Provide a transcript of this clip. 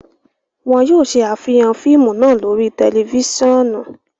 Wọn yoo ṣe afihan fiimu naa lori tẹlifisiọnu